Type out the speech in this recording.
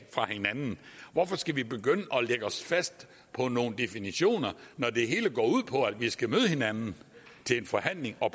fra hinanden hvorfor skal vi begynde at lægge os fast på nogle definitioner når det hele går ud på at vi skal møde hinanden til en forhandling og